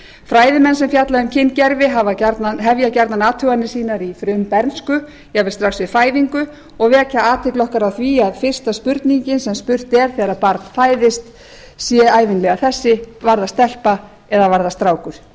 fræðimenn sem fjalla um kyngervi hefja gjarnan athuganir sínar í frumbernsku jafnvel strax við fæðingu og vekja athygli okkar á því að fyrsta spurningin sem spurt er þegar barn fæðist sé ævinlega þessi var það stelpa eða var það strákur ég gríp